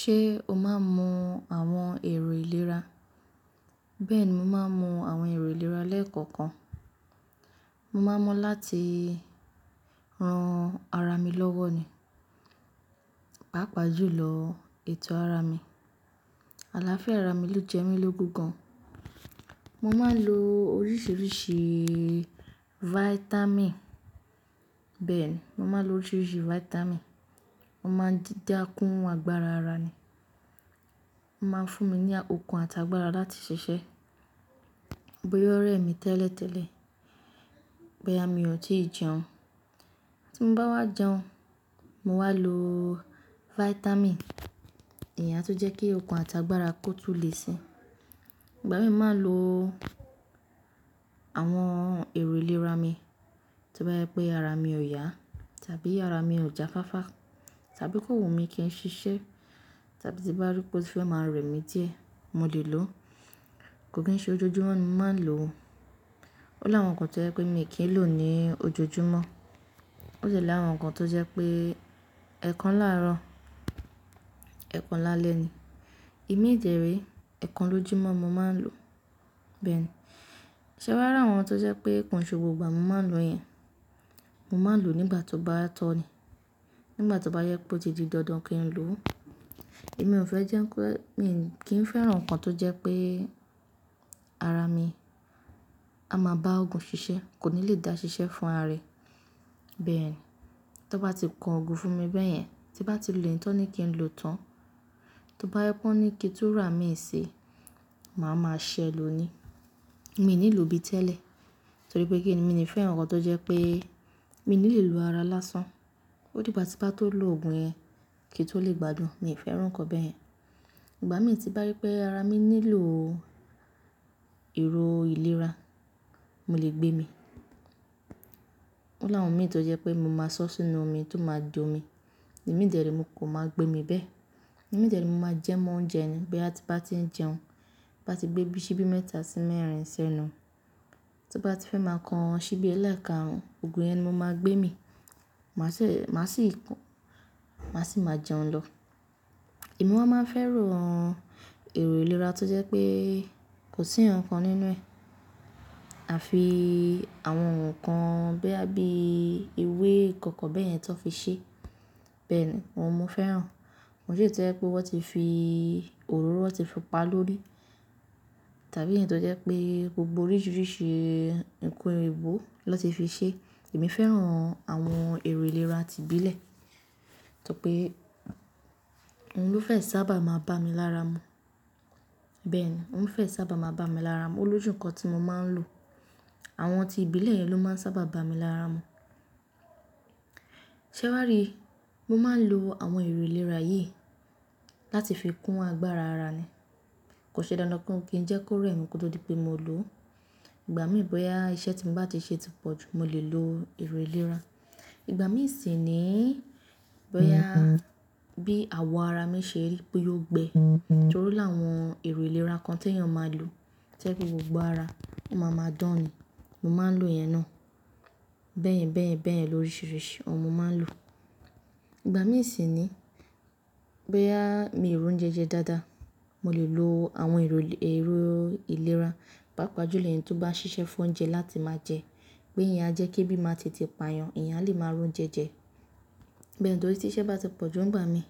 Ṣé o máa ń mu àwọn èrò ìlera? Bẹ́ẹ̀ni, mo máa ń mu àwọn èrò ìlera lẹ́ẹ̀kọ̀kan. Mo máa ń mu láti ran ara mi lọ́wọ́ ni, pàápàá jùlọ ètò ara mi. Àlàáfíà ara mi lò jẹ́ mí lógun gan. Mo máa ń lo oríṣiríṣii vitamin. Bẹ́ẹ̀ ni, mo máa ń lo oríṣiríṣi vitamin. Mo máa ń dídá kún agbára ara ni. Ó máa ń fún mi ní okun àti agbára láti ṣiṣẹ́, bóyá ó rẹ̀ mí tẹ́lẹ̀tẹ́lẹ̀, bóyá mi ò tíì jẹun. Tí bá wá jẹun, mo wáa lo vitamin èyí a tun jẹ́ kí okun àti agbára kó tun lè si. Ìgbà mí máa ń lo àwọn èrò ìlera mi tí ó bá jẹ pé ara mi ò yá, tàbí ara mi ò jáfáfá, tàbí okan wu mi kí n ṣiṣẹ́, tàbí tí bá rí pé ó ti fẹ́ máa rẹ̀ mí díẹ̀, mo lè lò ó. Kò kí n ṣe ojoojúmọ́ ni máa n lò ó. Ó láwọn kan tó jẹ́ pé mi kì í lò ó ní ojoojúmọ́. Ó sì ni àwọn kan tó jẹ́ pé ẹ̀kan láàrọ̀, ẹ̀kan lálẹ́ ni. Ìmídẹ̀ree, ẹ̀kan lójúmọ́ mo máa ń lò ó. Bẹ́ẹ̀ ni, ṣé wá rà àwọn tó jẹ́ pé ko n ṣe gbogbo ìgbà mo máa lò yẹn. Mo máa lò ó nígbà tó bá tọ́ ni. Nígbà tó bá yẹ pé ó ti di dandan kí n lò ó. Èmi ò fẹ́ jẹ́ pé mi kì í fẹ́ràn nǹkan tó jẹ́ pé ara mi a máa bá òògùn ṣiṣẹ́, kò ní lè dá ṣiṣẹ́ fún ara rẹ̀. Bẹ́ẹ̀ yen, tó bá ti kó òògùn fún mi bẹ́ẹ̀ yẹn, tí bá ti lo eyi tó ní kí n lò ó tán, tó bá yẹ pé ó ní kí túrà mi ṣi, màá máa ṣẹ lo ni. Èmi ò nílò bí tẹ́lẹ̀, torí pé kí ni, mi ò ní fẹ́ràn nǹkan tó jẹ́ pé mi ní lè lo ara lásán. Ó dí igbá ti ba tó lo òògùn yẹn kí i tó lè gbadun. Mi ò fẹ́ràn nǹkan bẹ́ẹ̀ yẹn. Ìgbà mí tí bá rí pé ara mi nílò èrò ìlera, mo lè gbé mi. Ó láwọn ìmí tó jẹ́ pé mo máa sọ́ sínú omi, tó máa jó mi. Ìmídẹ̀re mo kan máa gbé mi bẹ́ẹ̀. Ìmídẹ̀re mo máa jẹ́ mọ́ oúnjẹ ni. Boya ti bá ti ń jẹun, bá ti gbé bí i ṣíbí mẹ́ta sí mẹ́rin senú, tó bá ti fẹ́ máa kan ṣíbí ẹ̀ẹ̀lé karun, òògùn yẹn ni mo máa gbé mi. Màá sì máa jẹun lọ. Emi wa máa ń fẹ́ràn awon èrò ìlera tó jẹ́ pé kò sí hun kan nínú ẹ̀. Àfi àwọn nǹkan boya bí i ewé ì kan kan bẹ́ẹ̀ yẹn to n fi ṣe. Bẹ́ẹ̀ ni, wọn mú fẹ́ràn. Òun to jẹ́ pé wọ́n ti fi òróró, wọ́n ti fi pá lorí i. Tàbí ẹ̀yí tó jẹ́ pé gbogbo oríṣiríṣi nǹkan èèbó ló ti fi ṣe. Emí fẹ́ràn àwọn èrò ìlera ti ìbílẹ̀. Torí pé òun ló fẹ́ sábà máa bá mi lára mu. Bẹ́ẹ̀ ni, òun fẹ́ sábà máa bá mi lára mu. Ó lójú nǹkan tí mo máa ń lò. Àwọn ti ìbílẹ̀ yẹn ló máa ń sábà bá mi lára mu. Ṣé wàá rí i? Mo máa ń lo àwọn èrò ìlera yìí láti fi kún agbára ara ni. Kò ṣe dandan kí n jẹ́ kó rẹ̀ mí kó tó di pé mo lò ó. Ìgbà mí bóyá iṣẹ́ tí mo bá ti ṣe ti pọ̀ jù, mo lè lo èrò ìlera. Ìgbà mí sì ni bóyá bí àwọ̀ ara mi ṣe ri boya o gbẹ. Torí áwọn èrò ìlera kan tí èèyàn máa ń lò jẹ́ pé gbogbo ara máa máa dán ni. Mo máa ń lo yẹn náà. Bẹ́ẹ̀yan, bẹ́ẹ̀yan, bẹ́ẹ̀yan lóríṣiríṣi ọun mo máa ń lò. Ìgbà mí sì ni bóyá mi ò ri ounjẹ jẹ dáadáa, mo lè lo àwọn èrò ìlera, pàápàá jùlọ ẹ̀yín tó bá ń ṣiṣẹ́ fún oúnjẹ láti máa jẹ. Pé ìyá ajẹ́ kí ebí màá te te pa yàn, eyán alè máa ro ounjẹ́ jẹ. Bẹ́ẹ̀ ni torí tí iṣẹ́ bá ti pọ̀ jù nígbà mí,